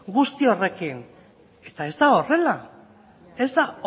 guztia horrekin eta ez da